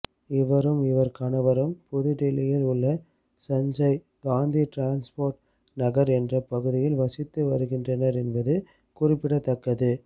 இவரும் இவர் கணவரும் புதுடெல்லியில் உள்ள சஞ்சய் காந்தி டிரான்ஸ்போர்ட் நகர் என்ற பகுதியில் வசித்து வருகின்றனர் என்பது குறிப்பிடத்தக்கது